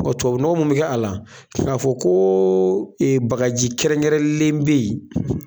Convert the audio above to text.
Tubabunɔgɔ mun bɛ kɛ a la, k'a fɔ ko bagaji kɛrɛnkɛrɛnlen bɛ yen